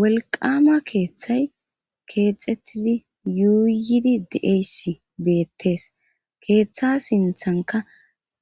Welqama keeththay keexxettidi yuuyidi dieysi beettees keeththa sinthanka